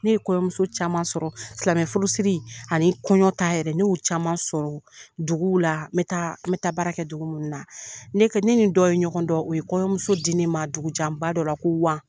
Ne ye kɔɲɔmuso caman sɔrɔ silamɛ furu siri ani kɔɲɔ ta yɛrɛ ne yo caman sɔrɔ duguw la me taa me taa baara kɛ dugu munna ne ne nin dɔ ye ɲɔgɔn dɔn o ye kɔɲɔmuso di ne ma dugu janba dɔ la ko wa.